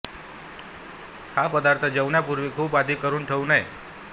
हा पदार्थ जेवणापूर्वी खूप आधी करून ठेवू नये